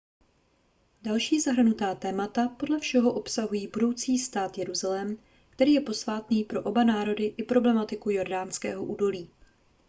další zahrnutá témata podle všeho obsahují budoucí stát jeruzalém který je posvátný pro oba národy i problematiku jordánského údolí